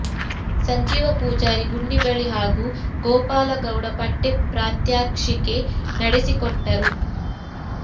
ಸಂಜೀವ ಪೂಜಾರಿ ಗುಂಡಿಬಳಿ ಹಾಗೂ ಗೋಪಾಲ ಗೌಡ ಪಟ್ಟೆ ಪ್ರಾತ್ಯಕ್ಷಿಕೆ ನಡೆಸಿಕೊಟ್ಟರು